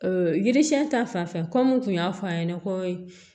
yiri siɲɛ ta fanfɛ ko n tun y'a fɔ a ɲɛna ko